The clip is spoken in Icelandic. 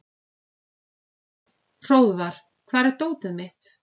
Hróðvar, hvar er dótið mitt?